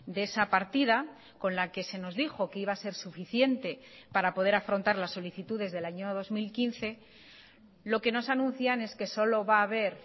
de esa partida con la que se nos dijo que iba a ser suficiente para poder afrontar las solicitudes del año dos mil quince lo que nos anuncian es que solo va a haber